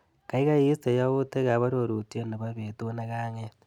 Kaikai istee yautikap arorutiet nebo betut nekang'et.